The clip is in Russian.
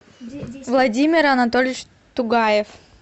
владимир анатольевич тугаев